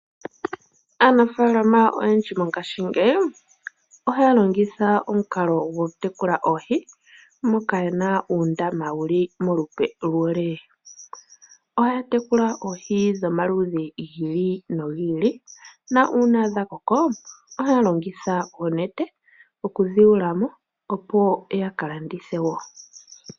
Aanafaalama oyendji mongashingeyi ohaya longitha omukalo gokutekula oohi moka ye na uundama wu li molupe lwo lee. Ohaya tekula oohi dhomaludhi gi ili nogi ili, na uuna dha koko ohaya longitha oonete oku dhi kwata mo opo ya ka landithe wo.